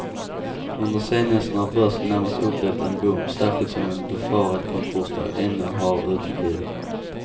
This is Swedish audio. Under senhösten har börsen närmast upplevt en boom, särskilt som en befarad konkursvåg ännu har uteblivit.